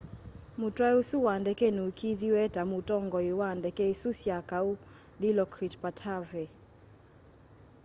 mutwai usu wa ndeke nuikiithiw'e ta mutongoi wa ndeke isu sya kau dilokrit pattavee